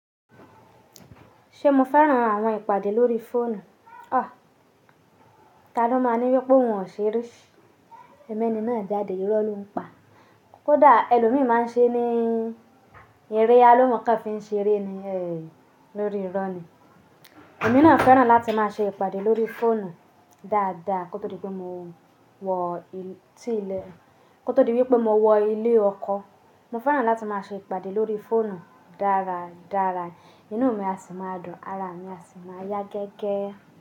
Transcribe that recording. Ṣé mo fẹ́ràn àwọn ìpàdé lórí fóònù? Ha!, Ta ló máa ní wípé oun ò ṣe rí, pe ẹni na o kin jáde, irọ́ ló ń pa. Kódà ẹlòmíì máa ń ṣe ní eré a ni òun kàn fi ń ṣe eré ni, ẹ, lórí irọ́ ni. Èmi náà fẹ́ràn láti máa ṣe ìpàdé lórí fóònù dáadáa kó tó di pé mo wọ tí ilé, kó tó di wípé mo wọ ilé ọkọ. Mo fẹ́ràn láti máa ṣe ìpàdé lórí fóònù dáradára, inú mi á sì máa dùn, ara mi á sì máa yá gẹ́gẹ́